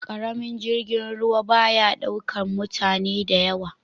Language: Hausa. Karamin jirgin ruwa ba ya daukar mutane da yawa.